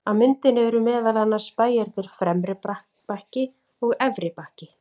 Á myndinni eru meðal annars bæirnir Fremri-Bakki og Efri-Bakki.